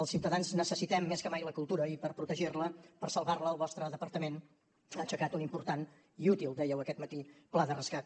els ciutadans necessitem més que mai la cultura i per protegir la per salvar la el vostre departament ha aixecat un important i útil dèieu aquest matí pla de rescat